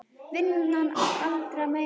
Vinnan allra meina bót.